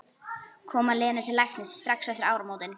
Koma Lenu til læknis strax eftir áramótin.